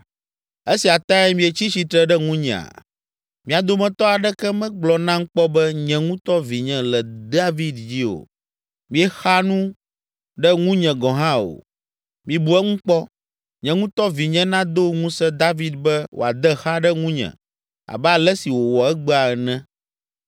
Esia tae mietsi tsitre ɖe ŋunyea? Mia dometɔ aɖeke megblɔ nam kpɔ be nye ŋutɔ vinye le David dzi o. Miexa nu ɖe nunye gɔ̃ hã o. Mibu eŋu kpɔ! Nye ŋutɔ vinye nado ŋusẽ David be woade xa ɖe ŋunye abe ale si wòwɔ egbea ene.”